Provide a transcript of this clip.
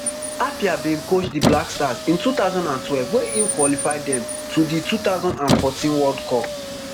appiah bin coach di black stars in two thousand and twelve wey im qualify dem to di two thousand and fourteen world cup